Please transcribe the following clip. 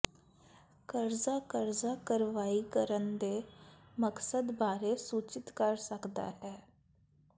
ਕਰਜ਼ਾ ਕਰਜ਼ਾ ਕਾਰਵਾਈ ਕਰਨ ਦੇ ਮਕਸਦ ਬਾਰੇ ਸੂਚਿਤ ਕਰ ਸਕਦਾ ਹੈ